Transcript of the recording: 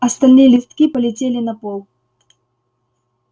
остальные листки полетели на пол